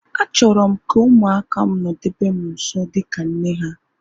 Achọrọ m ka ụmụaka m nodebe m nso dịka nne ha